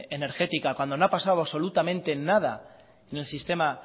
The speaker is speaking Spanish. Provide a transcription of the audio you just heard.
energética cuando no ha pasado absolutamente nada en el sistema